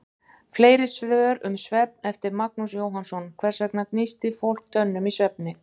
Fleiri svör um svefn, eftir Magnús Jóhannsson: Hvers vegna gnístir fólk tönnum í svefni?